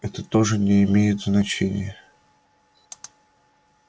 это тоже не имеет значения